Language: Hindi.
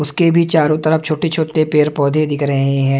उसके भी चारो तरफ छोटे छोटे पैर पोधे दिख रहे हैं।